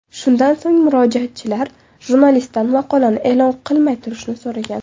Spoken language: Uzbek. Shundan so‘ng, murojaatchilar jurnalistdan maqolani e’lon qilmay turishni so‘ragan.